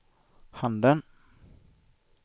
handen